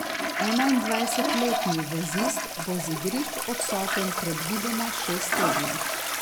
Enaindvajsetletni vezist bo z igrišč odsoten predvidoma šest tednov.